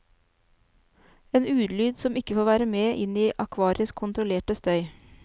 En ulyd som ikke får være med inn i akvariets kontrollerte støy.